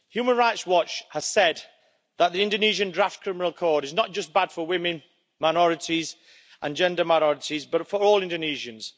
Human Rights Watch has said that the Indonesian draft Criminal Code is not just bad for women, minorities and gender minorities but for all Indonesians.